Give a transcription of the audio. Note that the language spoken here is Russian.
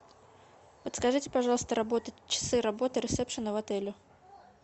подскажите пожалуйста работу часы работы ресепшена в отеле